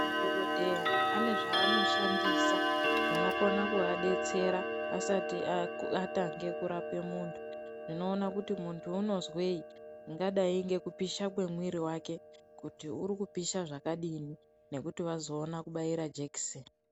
Madhokodheya ane zvaanoshandisa zvinokona kuadetsera asati atange kurape munhu, zvinoona kuti munhu unozwei zvingadai ngekupisha kunoita mwiri wake kuti uri kupisha zvakadini nekuti vazoona kubaira jekiseni.